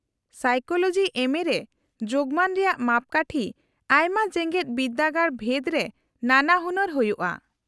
-Psychology ᱮᱢᱹᱮ ᱨᱮ ᱡᱳᱜᱢᱟᱱ ᱨᱮᱭᱟᱜ ᱢᱟᱯᱠᱟᱴᱷᱤ ᱟᱭᱢᱟ ᱡᱮᱜᱮᱫ ᱵᱤᱨᱫᱟᱹᱜᱟᱲ ᱵᱷᱮᱫ ᱨᱮ ᱱᱟᱱᱟᱦᱩᱱᱟᱨ ᱦᱩᱭᱩᱜᱼᱟ ᱾